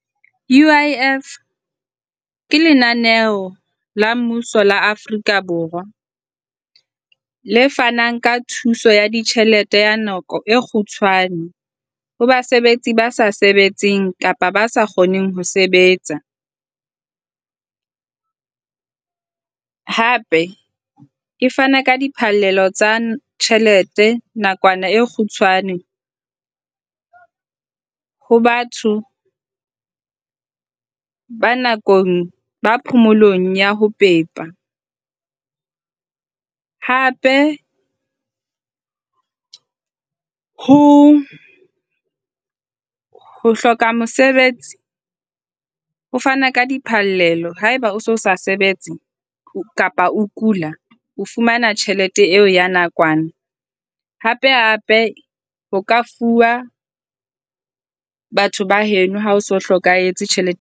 UIF ke lenaneo la mmuso la Afrika Borwa. Le fanang ka thuso ya ditjhelete ya nako e kgutshwane ho basebetsi ba sa sebetseng kapa ba sa kgoneng ho sebetsa. Hape e fana ka diphallelo tsa tjhelete nakwana e kgutshwane ho batho ba nakong ba phomolong ya ho pepa. Hape ho ho hloka mosebetsi ho fana ka diphallelo haeba o se sa sebetse kapa o kula, o fumana tjhelete eo ya nakwana. Hapehape o ka fuwa batho ba heno ha o so hlokahetse tjhelete